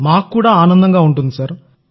మాకు కూడా ఆనందంగా ఉంటుంది సార్